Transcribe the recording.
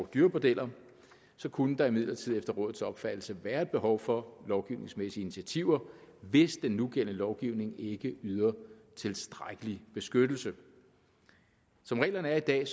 dyrebordeller kunne der imidlertid efter rådets opfattelse være et behov for lovgivningsmæssige initiativer hvis den nugældende lovgivning ikke yder tilstrækkelig beskyttelse som reglerne er i dag